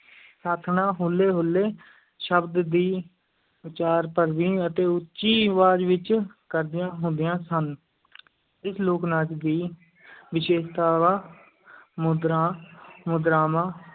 ਸਾਥਣਾਂ ਹੁੱਲੇ, ਹੁੱਲੇ ਸ਼ਬਦ ਦੀ ਉਚਾਰ ਭਰਵੀਂ ਅਤੇ ਉੱਚੀ ਅਵਾਜ਼ ਵਿੱਚ ਕਰਦੀਆਂ ਹੁੰਦੀਆਂ ਸਨ ਇਸ ਲੋਕ-ਨਾਚ ਦੀ ਵਿਸ਼ੇਸ਼ਤਾਵਾਂ ਮੁਦਰਾਂ ਮੁਦਰਾਵਾਂ